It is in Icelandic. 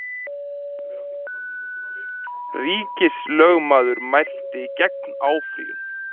Ríkislögmaður mælti gegn áfrýjun